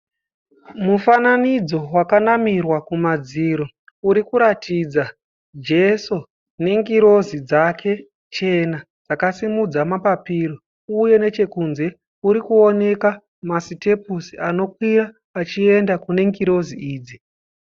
Mufananidzo wakanamirwa kumadziro urikuratidza Jeso nengirozi dzake chena dzakasimudza mapapiro uye nechekunze kurikuoneka masitepusi anokwira achienda kunengirozi idzi.